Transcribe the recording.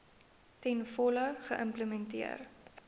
ten volle geïmplementeer